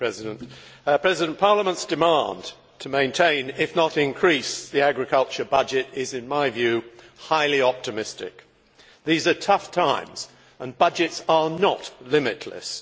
Madam President, Parliament's demand to maintain, if not increase, the agricultural budget is in my view highly optimistic. These are tough times and budgets are not limitless.